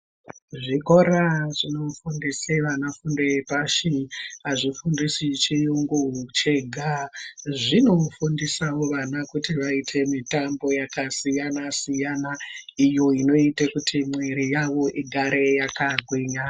Zvikora zvinofundisa vana fundo yepashi hazvifundisi chiyungu chega. Zvinofundisawo vana kuti vaite mitambo yakasiyana-siyana iyo inoite kuti miviri yavo igare yakagwinya.